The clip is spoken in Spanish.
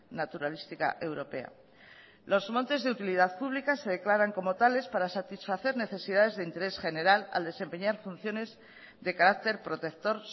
naturalística europea los montes de utilidad pública se declaran como tales para satisfacer necesidades de interés general al desempeñar funciones de carácter protector